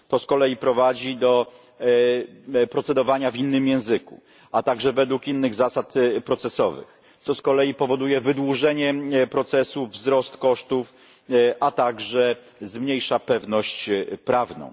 To z kolei prowadzi do procedowania w innym języku, a także według innych zasad procesowych, co z kolei powoduje wydłużenie procesu, wzrost kosztów, a także zmniejsza pewność prawną.